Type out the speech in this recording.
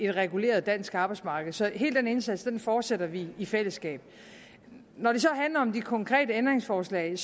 reguleret dansk arbejdsmarked så hele den indsats fortsætter vi i fællesskab når det så handler om de konkrete ændringsforslag vil